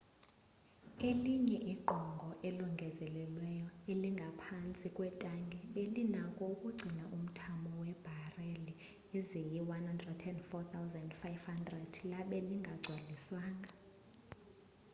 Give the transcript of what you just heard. elinye igqongo elongezelelweyo elingaphantsi kwetanki belinako ukugcina umthamo webareli eziyi 104,500 labe lingagcwaliswanga